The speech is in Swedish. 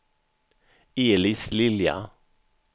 Elis Lilja